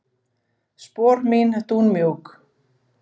Spor mín dúnmjúk.